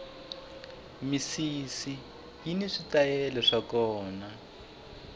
misisi yini switayele swa kona